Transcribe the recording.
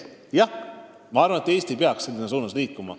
Jah, ma arvan, et Eesti peaks selles suunas liikuma.